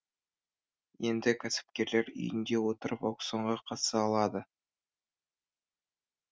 енді кәсіпкерлер үйінде отырып аукционға қатыса алады